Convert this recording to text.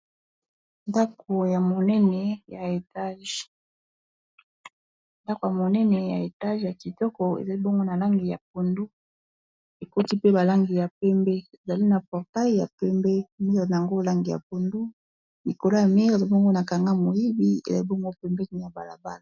Ndako ya monene ya etage ya kitoko ezali bongo na langi ya pondu ekoti pe ba langi ya pembe ezali na portail ya pembe mir ango langi ya pondu likolo ya mir eza bongo na kanga moyibi ezali bongo pembeni ya balabala.